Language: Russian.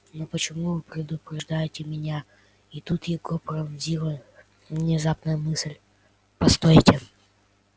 но почему вы предупреждаете меня и тут его пронзила внезапная мысль постойте